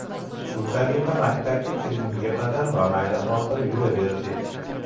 Shu tariqa maktabga kirgunga qadar bamaylixotir yuraverdik.